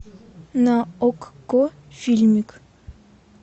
на окко фильмик